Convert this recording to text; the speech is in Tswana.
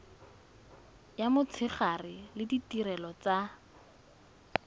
ya motshegare le ditirelo tsa